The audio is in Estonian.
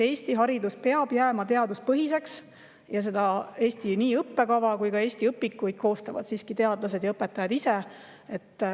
Eesti haridus peab jääma teaduspõhiseks ja nii õppekava kui ka õpikuid koostavad Eestis siiski teadlased ja õpetajad ise.